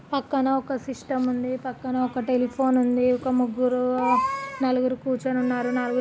పక్కన ఒక సిస్టమ్ ఉంది. పక్కన ఒక టెలిఫోన్ ఉంది. ఒక ముగ్గురు నలుగురు కూర్చోని ఉన్నారు.నలు--